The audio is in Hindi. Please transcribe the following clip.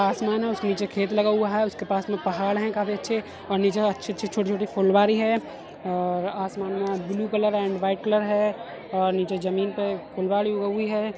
आसमान है उसके नीचे खेत लगा हुआ है उसके पास में पहाड़ है काफी अच्छे और नीचे अच्छी-अच्छी छोटी-छोटी फुलवारी है और आसमान में blue colour and white colour है और नीचे जमीन पे फुलवाडी उगी है।